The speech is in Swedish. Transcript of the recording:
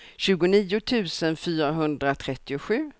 tjugonio tusen fyrahundratrettiosju